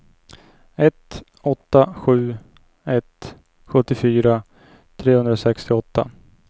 ett åtta sju ett sjuttiofyra trehundrasextioåtta